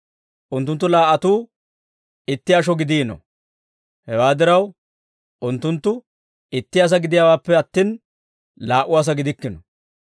unttunttu laa"atuu itti asho gidiino; hewaa diraw, unttunttu itti asaa gidiyaawaappe attin, laa"u asaa gidikkino.